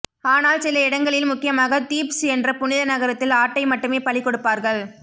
ஆனால் சில இடங்களில் முக்கியமாக தீப்ஸ் என்ற புனித நகரத்தில் ஆட்டை மட்டுமே பலி கொடுப்பார்கள்